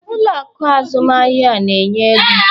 Ụlọ akụ azụmahịa na-enye ego?